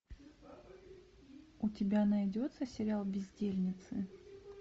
у тебя найдется сериал бездельницы